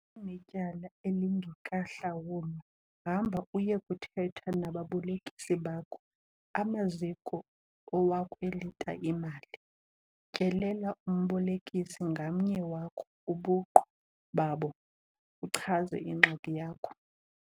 Unetyala elingekahlawulwa hamba uye KUTHETHA NABABOLEKISI BAKHO, amaziko owakwelita imali. Tyelela umbolekisi ngamnye wakho ubuqu babo uchaze ingxaki yakho.